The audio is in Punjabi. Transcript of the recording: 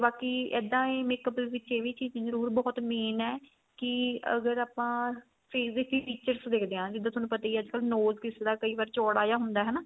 ਬਾਕੀ ਇੱਦਾਂ ਈ makeup ਦੇ ਵਿੱਚ ਇਹ ਵੀ ਚੀਜ਼ ਜਰੂਰ ਬਹੁਤ main ਏ ਕੀ ਅਗਰ ਆਪਾਂ face ਦੇ ਵੀ features ਦੇਖਦੇ ਆ ਜਿੱਦਾਂ ਤੁਹਾਨੂੰ ਪਤਾ ਹੀ ਏ ਅੱਜਕਲ nose ਕਿਸੇ ਦਾ ਕਈ ਵਾਰ ਚੋੜਾ ਜਾ ਹੁੰਦਾ ਹਨਾ